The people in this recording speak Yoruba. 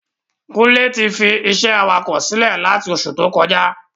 Kúnlé ti fi isé awakọ̀ silẹ lati oṣù tó kọjá